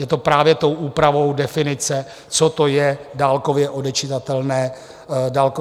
Je to právě tou úpravou definice, co to je dálkově odečitatelné měřidlo.